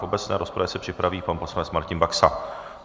V obecné rozpravě se připraví pan poslanec Martin Baxa.